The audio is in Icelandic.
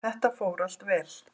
Þetta fór allt vel.